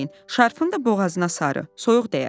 Şarfını da boğazına sarı, soyuq dəyər.